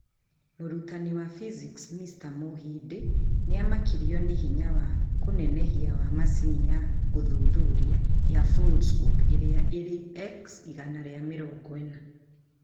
Mũrutani wa Physics, Mr. Muhindi, nĩ aamakirio nĩ hinya wa kũnenehia wa macini ya gũthuthuria ya Foldscope ĩrĩa ĩrĩ X140.